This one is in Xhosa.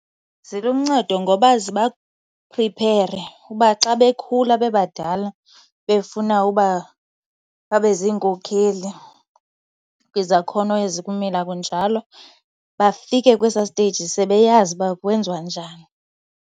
Ziluncedo ngoba zibapriphere uba xa bekhula bebadala befuna uba babe ziinkokheli kwizakhono ezikumila kunjalo bafike kwesaa steyiji sebeyazi uba kwenziwa njani.